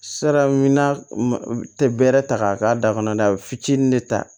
Sira min na tɛ bɛrɛ ta k'a k'a da kɔnɔ a bɛ fitinin de ta